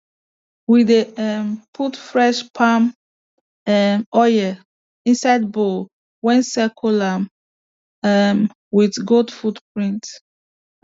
we dey um put fresh palm um oil inside bowl wen circle am um with goat footprints